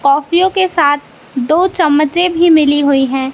कॉफीयों के साथ दो चम्मचें भी मिली हुई है।